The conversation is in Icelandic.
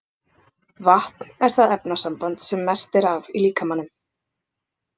Vatn er það efnasamband sem mest er af í líkamanum.